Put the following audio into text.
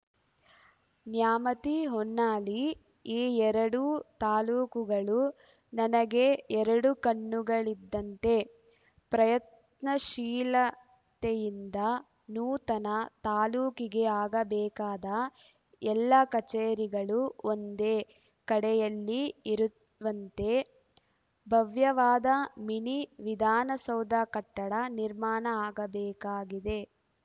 ನ್ಯಾಮತಿ ಹೊನ್ನಾಳಿ ಈ ಎರಡೂ ತಾಲೂಕುಗಳು ನನಗೆ ಎರಡು ಕಣ್ಣುಗಳಿದ್ದಂತೆ ಪ್ರಯತ್ನಶೀಲತೆಯಿಂದ ನೂತನ ತಾಲೂಕಿಗೆ ಆಗಬೇಕಾದ ಎಲ್ಲ ಕಚೇರಿಗಳು ಒಂದೇ ಕಡೆಯಲ್ಲಿ ಇರುವಂತೆ ಭವ್ಯವಾದ ಮಿನಿ ವಿಧಾನಸೌಧ ಕಟ್ಟಡ ನಿರ್ಮಾಣ ಆಗಬೇಕಾಗಿದೆ